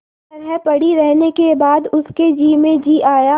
तरह पड़ी रहने के बाद उसके जी में जी आया